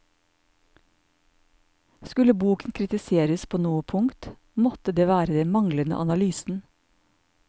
Skulle boken kritiseres på noe punkt, måtte det være den manglende analysen.